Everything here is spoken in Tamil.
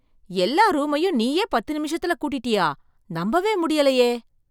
எல்லா ரூமையும் நீயே பத்து நிமிஷத்துல கூட்டிட்டயா? நம்பவே முடியலையே.